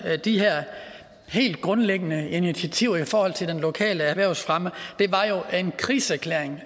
de her helt grundlæggende initiativer i forhold til den lokale erhvervsfremme var jo en krigserklæring